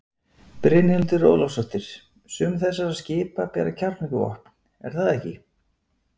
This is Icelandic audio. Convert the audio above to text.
Brynhildur Ólafsdóttir: Sum þessara skipa bera kjarnorkuvopn er það ekki?